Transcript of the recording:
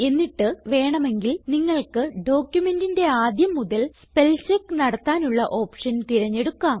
എന്നിട്ട് വേണമെങ്കിൽ നിങ്ങൾക്ക് ഡോക്യുമെന്റിന്റെ ആദ്യം മുതൽ സ്പെൽചെക്ക് നടത്താനുള്ള ഓപ്ഷൻ തിരഞ്ഞെടുക്കാം